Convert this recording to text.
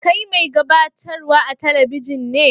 Kai mai gabatarwa a'telibijin ne?